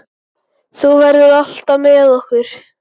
Þú verður alltaf með okkur.